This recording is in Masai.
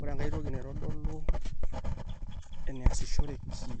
ore enkai toki naitodolu eneasishoreki